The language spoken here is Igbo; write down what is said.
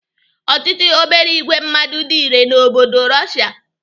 Ochichi obere ìgwè mmadụ dị irè n'obodo Russia.